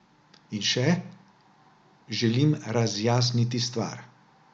In še: 'Želim razjasniti stvar.